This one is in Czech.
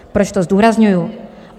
Proč to zdůrazňuji?